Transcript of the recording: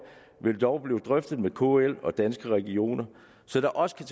vil dog blive drøftet med kl og danske regioner så der også kan